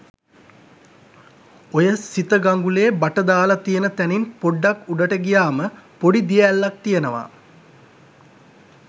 ඔය සිත ගඟුලේ බට දාල තියන තැනින් පොඩ්ඩක් උඩට ගියාම පොඩි දිය ඇල්ලක් තියනවා.